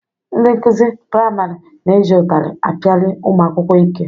Ndị nkụzi priamarị na-eji ụtarị apiali ụmụ akwụkwọ ike.